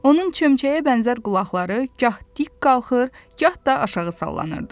Onun çömçəyə bənzər qulaqları gah dik qalxır, gah da aşağı sallanırdı.